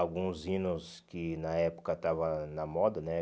Alguns hinos que na época estavam na moda, né?